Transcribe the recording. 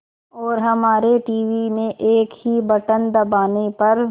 और हमारे टीवी में एक ही बटन दबाने पर